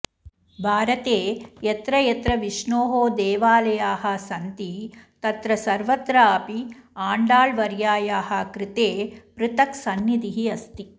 भारते यत्र यत्र विष्णोः देवालयाः सन्ति तत्र सर्वत्रापि आण्डाळ् वर्यायाः कृते पृथक् सन्निधिः अस्ति